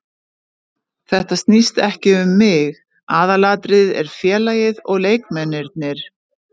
Þetta snýst ekki um mig, aðalatriðið er félagið og leikmennirnir.